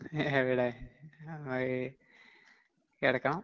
ഏയ് എവിടെ ആ ഈ കെടക്കണം.